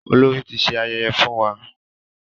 Olórí ti ṣe ayẹyẹ fún wa.